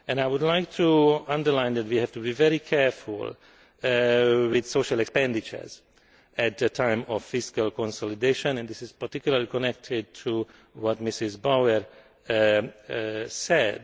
I would like to underline that we have to be very careful with social expenditure at a time of fiscal consolidation, and this is particularly connected to what Ms Bauer said.